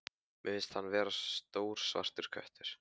Mér finnst hann vera stór svartur köttur.